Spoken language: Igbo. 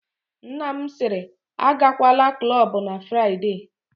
Nna m sịrị, agakwala klọbụ na Fraịde!